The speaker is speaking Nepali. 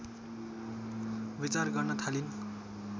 विचार गर्न थालिन्